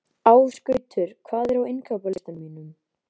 Ásgautur, hvað er á innkaupalistanum mínum?